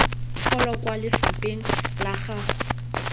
pholo kwa lefapheng la gago